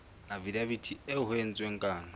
afidaviti eo ho entsweng kano